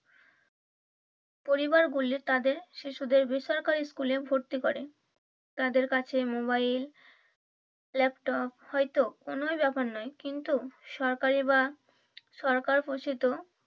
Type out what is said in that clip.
পরিবার গুলি তাদের শিশুদের বেসরকারি স্কুলে ভর্তি করে। তাদের কাছে মোবাইল ল্যাপটপ হয়তো কোনোই ব্যাপার নয় কিন্তু সরকারি বা সরকার ঘোষিত